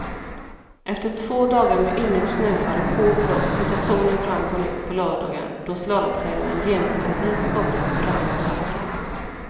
Efter två dagar med ymnigt snöfall och hård blåst tittade solen fram på nytt på lördagen då slalomtävlingen genomfördes i en skapligt brant backe.